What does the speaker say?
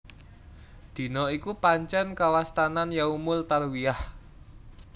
Dina iku pancèn kawastanan Yaumul Tarwiyah